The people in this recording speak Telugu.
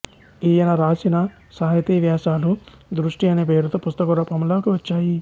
ఈయన రాసిన సాహితీవ్యాసాలు దృష్టి అనే పేరుతో పుస్తక రూపంలో వచ్చాయి